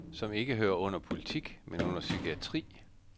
Der er tale om et had, som ikke hører under politik, men under psykiatri.